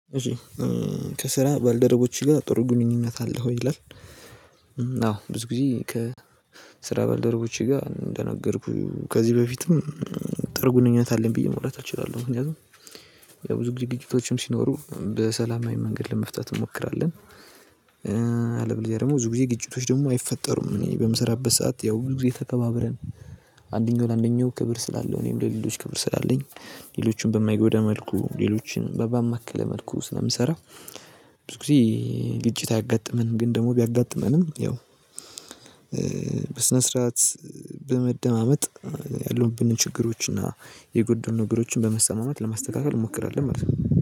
ከስራ ባልደረቦች ጋር ጥሩ ግንኙነት አለህ ወይ ይላል? አዎ ብዙ ጊዜ ከስራ ባልደረቦቼ ጋር እንደነገርኩህ ከዚህ በፊትም ጥርጉንኙነት አለኝ ብዬ ማውራት እችላለሁ ምክንያቱም ብዙ ጊዜ ግጭቶችም ሲኖሩ በሰላማዊ መንገድ ለመፍታት እንሞክራለን። አለበለዚያ ደግሞ ብዙ ጊዜ ግጭቶች ደግሞ አይፈጠሩም እኔ በምሰራበት ሰዓት ያው ብዙ ጊዜ ተከባብረን አንደኛው ለአንደኛው ክብር ስላለው እኔም ለሌሎች ክብር ስላለኝ ሌሎችን በማይጎዳ መልኩ ሌሎችን በባማከለ መልኩ ስለምሰራው ብዙ ጊዜ ግጭት አያጋጥመንም። ግን ደግሞ ቢያጋጥመንም ያው በስነ ስርዓት በመደማመጥ ያሉብንን ችግሮችና የጎደሉን ነገሮችን በመሰማማት ለማስተካከል እንሞክራለን ማለት ነው።